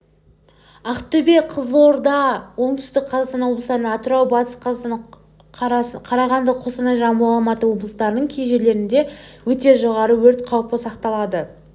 ақтөбе қызылорда оңтүстік қазақстан облыстарында атырау батыс қазақстан қарағанды қостанай жамбыл алматы облыстарының кей жерлерінде өте жоғары өрт қауіпі сақталады